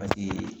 Paseke